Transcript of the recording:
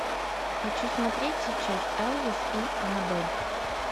хочу смотреть сейчас элвис и анабель